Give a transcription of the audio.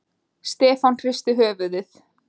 Stefán hristi höfuðið.